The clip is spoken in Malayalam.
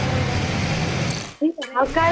ഉം എടി ഇത്രേം.